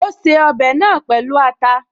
Ó ṣe ọbẹ̀ náà pẹ̀lú ata